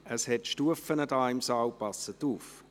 Es hat Stufen im Saal, passen Sie auf.